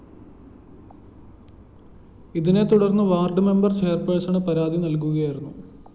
ഇതിനെ തുടര്‍ന്ന് ward member chairperson പരാതി നല്‍കിയിരുന്നു